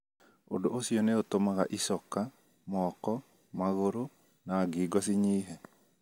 Ũndũ ũcio nĩ ũtũmaga icoka, moko, magũrũ, na ngingo cinyihe.